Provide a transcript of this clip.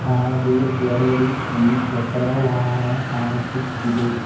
ಹಾಗೆ ಎರಡು ದ್ವೀ ಚಕ್ರ ವಾಹನ ಕಾಣಿಸುತ್ತಿದೆ.